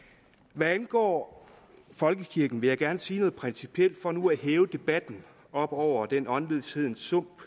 hvad angår folkekirken vil jeg gerne sige noget principielt for nu at hæve debatten op over den åndløshedens sump